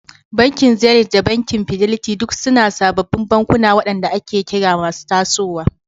Bankin Zenith da banki Fidelity duk suna sababbin bankuna waɗanda ake kira masu tasowa.